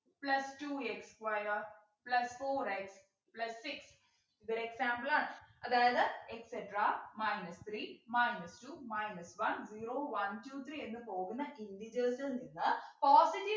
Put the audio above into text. Plus two x square plus four x plus six ഇതൊരു example ആണ് അതായത് etcetera minus three minus two minus one zero one two three എന്നു പോകുന്ന integers ൽ നിന്ന് positive